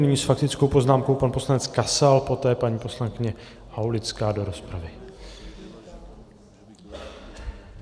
Nyní s faktickou poznámkou pan poslanec Kasal, poté paní poslankyně Aulická do rozpravy.